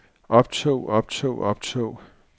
optog optog optog